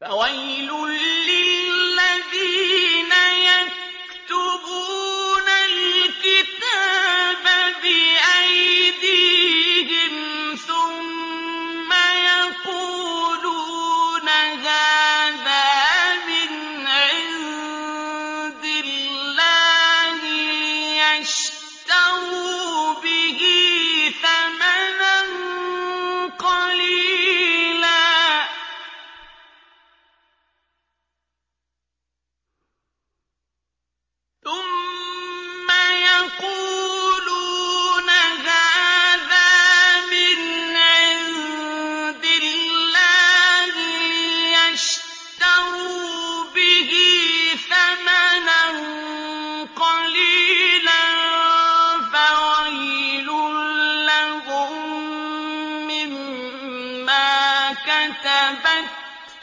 فَوَيْلٌ لِّلَّذِينَ يَكْتُبُونَ الْكِتَابَ بِأَيْدِيهِمْ ثُمَّ يَقُولُونَ هَٰذَا مِنْ عِندِ اللَّهِ لِيَشْتَرُوا بِهِ ثَمَنًا قَلِيلًا ۖ فَوَيْلٌ لَّهُم مِّمَّا كَتَبَتْ